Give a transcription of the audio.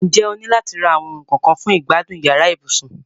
N jẹ́ o ni láti ra àwon oun kan kan fun ìgbádùn yàrá ibùsùn?